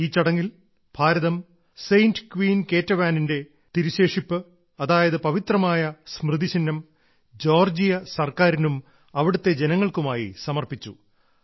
ഈ ചടങ്ങിൽ ഭാരതം സെന്റ് ക്യൂൻ കേറ്റവാനിന്റെ തിരുശേഷിപ്പ് അതായത് പവിത്രമായ സ്മൃതിചിഹ്നം ജോർജ്ജിയ സർക്കാരിനും അവിടത്തെ ജനങ്ങൾക്കുമായി സമർപ്പിച്ചു